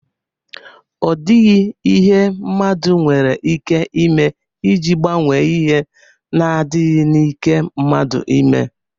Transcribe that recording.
O dighi ihe mmadu nwere ike ime iji gbanwee ihe na- adighi n' ike mmadu ime.